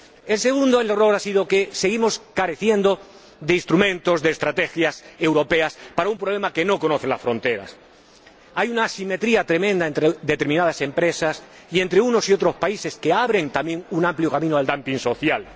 El segundo error ha sido que seguimos careciendo de instrumentos, de estrategias europeas para un problema que no conoce fronteras. Hay una simetría tremenda entre determinadas empresas y entre unos y otros países que abren también un amplio camino al dumping social.